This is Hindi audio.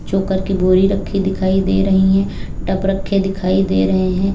चोकर की बोरी रखी दिखाई दे रही है टब रखे दिखाई दे रहे हैं।